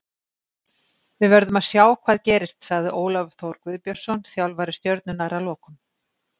Við verðum að sjá hvað gerist, sagði Ólafur Þór Guðbjörnsson þjálfari Stjörnunnar að lokum.